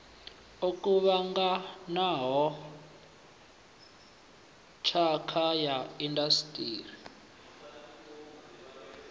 o kuvhanganaho phakha ya indasiṱiri